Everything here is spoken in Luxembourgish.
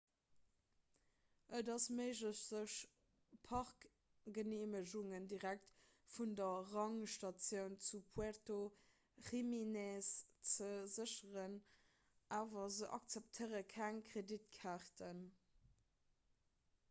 et ass méiglech sech parkgeneemegungen direkt vun der rangerstatioun zu puerto jiménez ze sécheren awer se akzeptéiere keng kreditkaarten